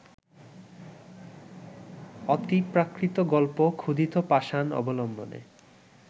অতিপ্রাকৃত গল্প ‘ক্ষুধিত পাষাণ’ অবলম্বনে